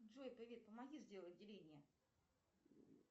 джой привет помоги сделать деление